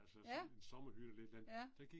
Ja, ja